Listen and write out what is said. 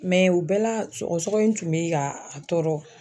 Mɛ u bɛɛ la sɔgɔsɔgɔ in tun be ka a tɔɔrɔ